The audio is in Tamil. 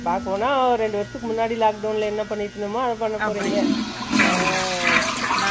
ரெண்டு வருஷத்துக்கு முன்னாடி lockdown ல என்ன பன்னிட்டு இருந்தோமோ அது பண்ணபோறீங்க